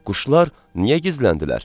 Quşlar niyə gizləndilər?